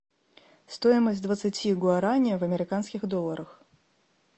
стоимость двадцати гуарани в американских долларах